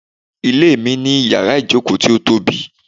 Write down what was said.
Ilé mi ní yàrá-ìjòkó ti o tobi